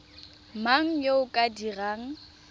mang yo o ka dirang